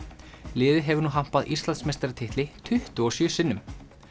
liðið hefur nú hampað Íslandsmeistaratitli tuttugu og sjö sinnum